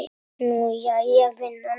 Nú, jæja, vinan.